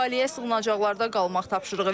Əhaliyə sığınacaqlarda qalmaq tapşırığı verilib.